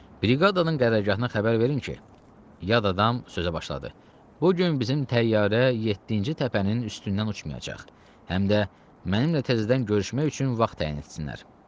"Briqadanın qərargahına xəbər verin ki," yad adam sözə başladı, "bu gün bizim təyyarə yeddinci təpənin üstündən uçmayacaq, həm də mənimlə təzədən görüşmək üçün vaxt təyin etsinlər."